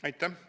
Aitäh!